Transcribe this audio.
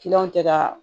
Kiliyanw tɛ ka